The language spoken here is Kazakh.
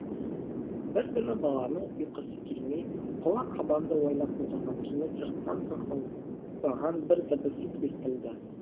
бір күні баланың ұйқысы келмей қола қабанды ойлап отырған кенет сырттан тықылдаған бір дыбыс естілді